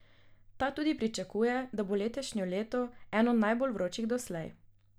Ta tudi pričakuje, da bo letošnje leto eno najbolj vročih doslej.